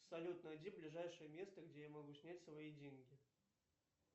салют найди ближайшее место где я могу снять свои деньги